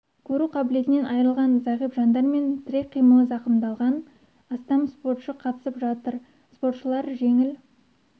көру қабілетінен айрылған зағип жандар мен тірек қимылы замқымдалған астам спортшы қатысып жатыр спортшылар жеңіл